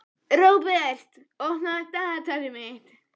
Róbert, opnaðu dagatalið mitt.